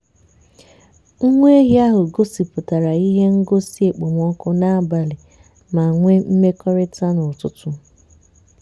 nwa ehi ahụ gosipụtara ihe ngosi okpomọkụ n'abalị ma nwee mmekọrịta n'ụtụtụ.